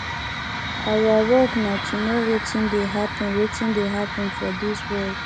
our work na to know wetin dey happen wetin dey happen for dis world